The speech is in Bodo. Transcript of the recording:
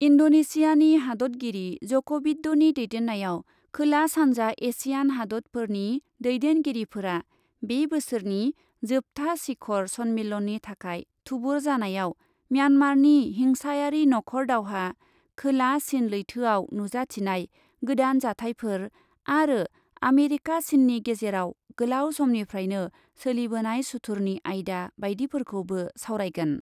इन्डनेसियानि हादतगिरि जक'भिडड'नि दैदेननायाव खोला सान्जा एसियान हादतफोरनि दैदेनगिरिफोरा बे बोसोरनि जोबथा शिखर सम्मेलननि थाखाय थुबुर जानायाव म्यानमारनि हिंसायारि नख'र दावहा, खोला चिन लैथोयाव नुजाथिनाय गोदान जाथाइफोर आरो आमेरिका चिननि गेजेराव गोलाव समनिफ्रायनो सोलिबोनाय सुथुरनि आयदा बायदिफोरखौबो सावरायगोन।